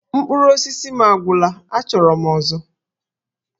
Mkpụrụ osisi m agwụla! Achọrọ m ọzọ!